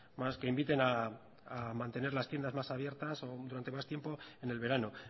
más que inviten a mantener las tiendas más abiertas o durante más tiempo en el verano